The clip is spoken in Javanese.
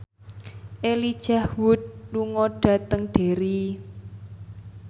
Elijah Wood lunga dhateng Derry